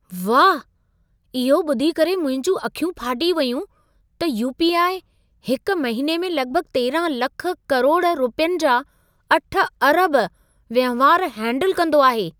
वाह! इहो ॿुधी करे मुंहिंजूं अखियूं फाटी वयूं त यू.पी.आई. हिक महिने में लॻभॻ 13 लख करोड़ रुपियनि जा 8 अरब वहिंवार हेंडल कंदो आहे।